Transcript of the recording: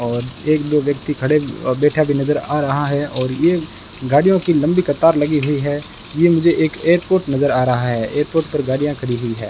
और एक दो व्यक्ति खडे बैठा भी नज़र आ रहा है और ये गाड़ियों की लंबी कतार लगी हुई है ये मुझे एक एयरपोर्ट नज़र आ रहा है एयरपोर्ट पर गाड़ियां खड़ी हुई है।